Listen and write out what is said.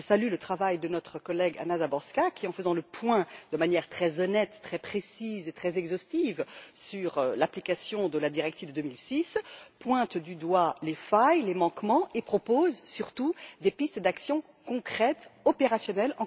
Je salue le travail de notre collègue, Anna Záborská, qui, en faisant le point, de manière très honnête, très précise et très exhaustive sur l'application de la directive de 2006, pointe du doigt les failles, les manquements et propose surtout des pistes d'actions concrètes et opérationnelles.